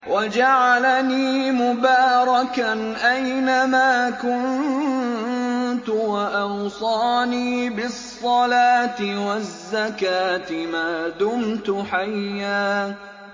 وَجَعَلَنِي مُبَارَكًا أَيْنَ مَا كُنتُ وَأَوْصَانِي بِالصَّلَاةِ وَالزَّكَاةِ مَا دُمْتُ حَيًّا